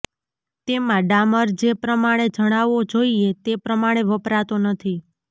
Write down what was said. તેમાં ડામર જે પ્રમાણે જણાવો જોઇએ તે પ્રમાણે વપરાતો નથી